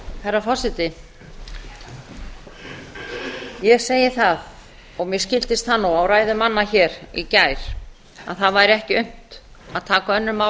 herra forseti ég segi það og mér skildist það nú á ræðum manna í gær að það væri ekki unnt að taka önnur mál